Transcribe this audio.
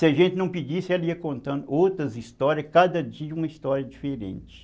Se a gente não pedisse, ela ia contando outras histórias, cada dia uma história diferente.